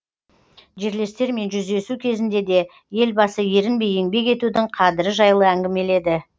жерлестермен жүздесу кезінде де елбасы ерінбей еңбек етудің қадірі жайлы әңгімеледі